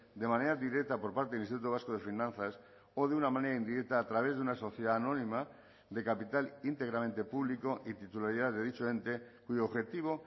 de manera directa por parte del instituto vasco de finanzas o de una manera indirecta a través de una sociedad anónima de capital íntegramente público y titularidad de dicho ente cuyo objetivo